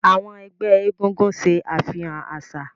Àwọn ẹgbẹ́ eégún ṣe àfihàn àṣà.